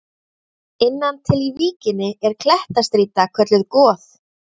Innan til í víkinni er klettastrýta kölluð Goð.